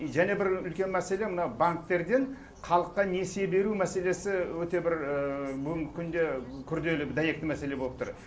және бір үлкен мәселе мына банктерден халыққа несие беру мәселесі өте бір бүгінгі күнде күрделі дәйекті мәселе болып тұр